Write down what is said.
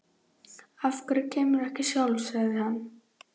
Af hverju kemurðu ekki sjálf? sagði hann.